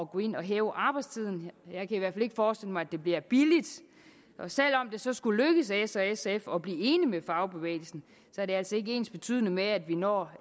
gå ind og hæve arbejdstiden jeg kan i hvert fald ikke forestille mig at det bliver billigt og selv om det så skulle lykkes s og sf at blive enige med fagbevægelsen er det altså ikke ensbetydende med at vi når